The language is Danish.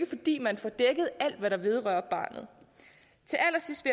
fordi man får dækket alt hvad der vedrører barnet til allersidst